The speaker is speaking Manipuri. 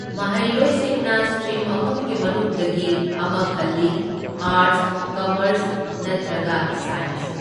ꯃꯍꯩꯔꯣꯏꯁꯤꯡꯅ ꯁꯇ꯭ꯔꯤꯝ ꯑꯍꯨꯝꯒꯤ ꯃꯅꯨꯡꯗꯒꯤ ꯑꯃ ꯈꯜꯂꯤ, ꯑꯥꯔꯠꯁ, ꯀꯝꯃꯔꯁ ꯅꯠꯇ꯭ꯔꯒ ꯁꯥꯏꯟꯁ꯫